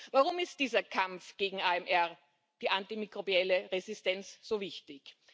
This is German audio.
Warum ist dieser Kampf gegen AMR, die antimikrobielle Resistenz so wichtig?